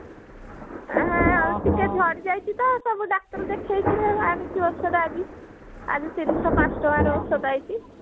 ହେଁ ଟିକେ ଝଡି ଯାଇଛି ତ ତାକୁ ଡାକ୍ତର ଦେଖେଇକିରି ଆଣିଛୁ ଔଷଧ ଆଜି ଆଜି ତିନିଶ ପାଞ୍ଚ ଟଙ୍କାର ଔଷଧ ଆଇଛି